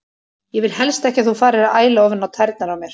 Ég vil helst ekki að þú farir að æla ofan á tærnar á mér.